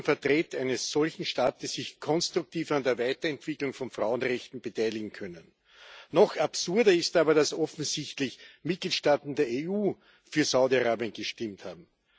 Wie sollen Vertreter eines solchen Staates sich konstruktiv an der Weiterentwicklung von Frauenrechten beteiligen können? Noch absurder ist aber, dass offensichtlich Mitgliedstaaten der EU für Saudi Arabien gestimmt haben.